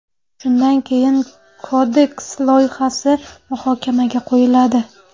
Shundan keyin Kodeks loyihasi muhokamaga qo‘yiladi.